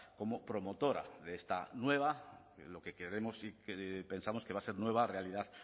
como promotora de esta nueva lo que queremos y que pensamos que va a ser nueva realidad